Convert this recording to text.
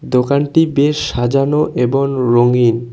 দোকানটি বেশ সাজানো এবন রঙিন।